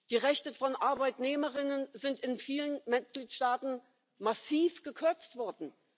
Die Rechte von Arbeitnehmerinnen sind in vielen Mitgliedstaaten massiv gekürzt worden.